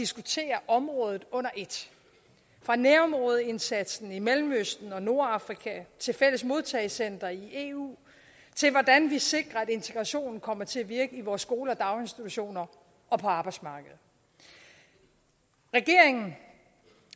diskutere området under et fra nærområdeindsatsen i mellemøsten og nordafrika til fælles modtagecentre i eu til hvordan vi sikrer at integrationen kommer til at virke i vores skoler og daginstitutioner og på arbejdsmarkedet regeringen